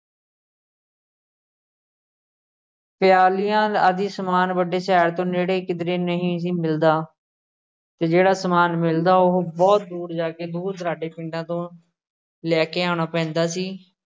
ਪਿਆਲਿਆਂ ਆਦਿ ਸਮਾਨ ਵੱਡੇ ਸ਼ਹਿਰ ਤੋਂ ਨੇੜੇ ਕਿਧਰੇ ਨਹੀਂ ਸੀ ਮਿਲਦਾ ਤੇ ਜਿਹੜਾ ਸਮਾਨ ਮਿਲਦਾ ਉਹ ਬਹੁਤ ਦੂਰ ਜਾ ਕੇ ਦੂਰ-ਦੁਰਾਡੇ ਪਿੰਡਾਂ ਤੋਂ ਲੈ ਕੇ ਆਣਾ ਪੈਂਦਾ ਸੀ।